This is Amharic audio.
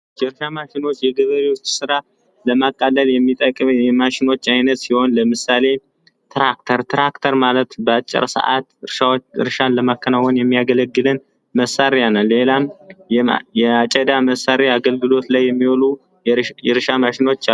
የገበሬዎችን ስራ ለማቃለል የሚጠቅም የማሽኖች አይነት ሲሆን ለምሳሌ ትራክተር ትራክተር ማለት በአጭር ሰዓት እርሻን ለማከናወን የሚያገለግለን መሳሪያ ነው ሌላም ለማጨድ የሚያገለግሉ መሳሪያ አገልግሎት ላይ የሚውሉ የእርሻ ማሸኖች አሉ።